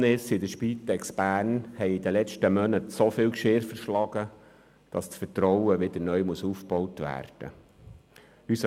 Die Vorkommnisse bei der Spitex Bern haben in den letzten Mo- naten so viel Geschirr zerschlagen, dass das Vertrauen wieder neu aufgebaut werden muss.